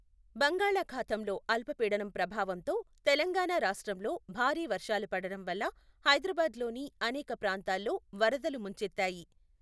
బంగాళఖాతంలో అల్ప పీడనం ప్రభావంతో తెలంగాణ రాష్ట్రంలో భారీ వర్షాలు పడటం వల్ల హైదరాబాద్ లోని అనేక ప్రాంతాల్లో వరదలు ముంచెత్తాయి.